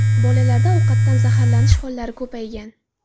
Bolalarda ovqatdan zaharlanish hollari ko‘paygan.